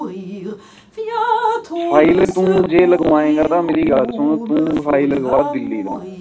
ਫਿਲੇ ਜੇ ਤੂੰ ਲਗਵਾਏਗਾ ਤਾ ਤੂੰ ਫਿਲੇ ਲਾਵਾਂ ਦਿੱਲੀ ਤੋਂ